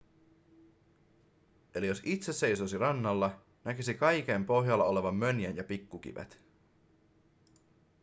eli jos itse seisoisi rannalla näkisi kaiken pohjalla olevan mönjän ja pikkukivet